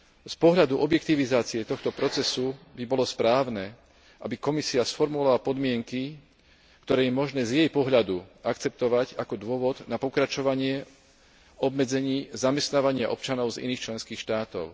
Z pohľadu objektivizácie tohto procesu by bolo správne, aby Komisia sformulovala podmienky, ktoré je možné z jej pohľadu akceptovať ako dôvod na pokračovanie obmedzení zamestnávania občanov z iných členských štátov.